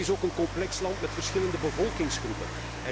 Het is ook een complex land met verschillende bevolkingsgroepen.